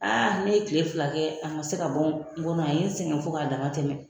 Aa ne ye tile fila kɛ a ma se ka bɔ n kɔnɔ a ye n sɛgɛn fo k'a dama tɛmɛ.